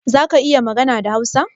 Zaka iya magana da Hausa?